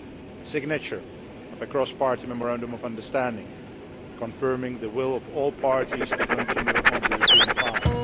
the signature of a cross party memorandum of understanding confirming the will of all parties to continue on the European path